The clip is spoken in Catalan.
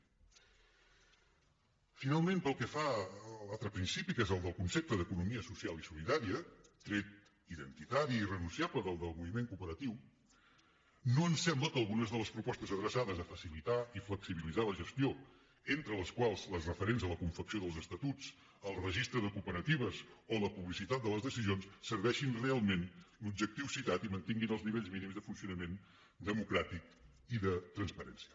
finalment pel que fa a l’altre principi que és el del concepte d’economia social i solidària tret identitari i irrenunciable del moviment cooperatiu no ens sembla que algunes de les propostes adreçades a facilitar i flexibilitzar la gestió entre les quals les referents a la confecció dels estatus al registre de cooperatives o a la publicitat de les decisions serveixin realment l’objectiu citat i mantinguin els nivells mínims de funcionament democràtic i de transparència